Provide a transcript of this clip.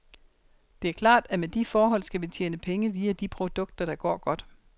Det er klart, at med de forhold skal vi tjene penge via de produkter, der går godt.